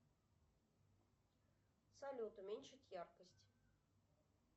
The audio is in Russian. салют уменьшить яркость